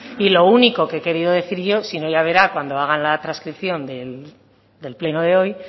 y lo único que he querido decir yo si no ya verá cuando hagan la transcripción del pleno de hoy